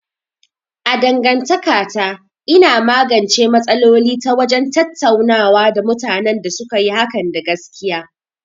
A dangantakata, ina magance matsaloli ta wajen tattaunawa da mutanen da suka yi hakan da gaskiya.